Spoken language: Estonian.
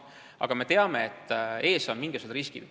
Aga me teame, et ees ootavad teatud riskid.